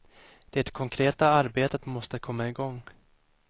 Det konkreta arbetet måste komma igång.